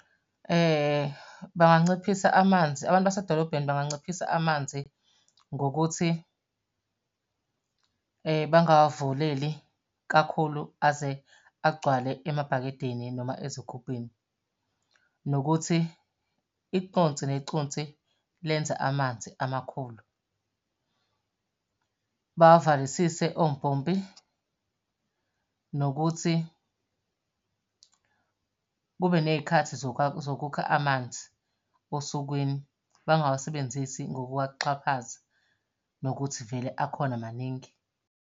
Banganciphisa amanzi, abantu basedolobheni banganciphisa amanzi ngokuthi bangawavuleli kakhulu aze agcwale emabhakedeni noma ezigubhwini. Nokuthi iconsi neconsi lenza amanzi amakhulu, bawavalisise ompompi. Nokuthi kube ney'khathi zokukha amanzi osukwini, bangawasebenzisi ngokuwaxhaphaza nokuthi vele akhona maningi.